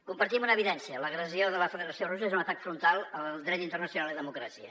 compartim una evidència l’agressió de la federació russa és un atac frontal al dret internacional i a la democràcia